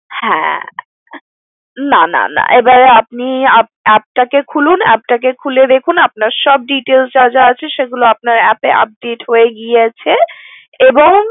হ্যা না না, এবার আপনি app টা কে খুলুন খুলে দেখুন আপনার সব details যা যা আছে সব update হয়ে গিয়েছে এবং